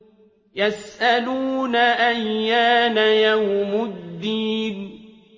يَسْأَلُونَ أَيَّانَ يَوْمُ الدِّينِ